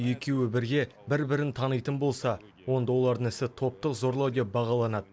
екеуі бірге бір бірін танитын болса онда олардың ісі топтық зорлау деп бағаланады